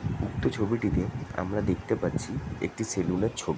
উক্ত ছবিটিতে আমরা দেখতে পাচ্ছি একটি সেলুন -এর ছব --